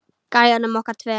Gæjunum okkar tveim.